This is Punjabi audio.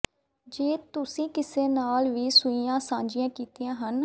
ਜੇ ਤੁਸੀਂ ਕਿਸੇ ਨਾਲ ਵੀ ਸੂਈਆਂ ਸਾਂਝੀਆਂ ਕੀਤੀਆਂ ਹਨ